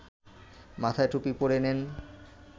মাথায় টুপি পরে নেন